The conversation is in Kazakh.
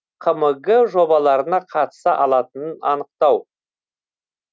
қмг жобаларына қатыса алатынын анықтау